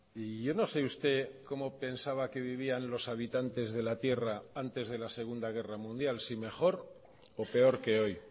y yo no sé usted como pensaba que vivían los habitantes de la tierra antes de la segunda guerra mundial si mejor o peor que hoy